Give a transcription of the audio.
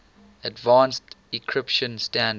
advanced encryption standard